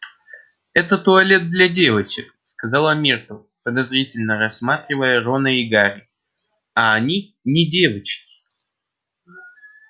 это туалет для девочек сказала миртл подозрительно рассматривая рона и гарри а они не девочки